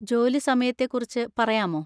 ജോലി സമയത്തെക്കുറിച്ച് പറയാമോ?